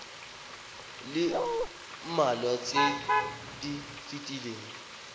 le mmalwa tse di fetileng